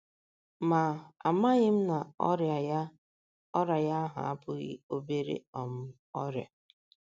Ma, amaghị m na ọrịa ya ọrịa ya ahụ abụghị obere um ọrịa.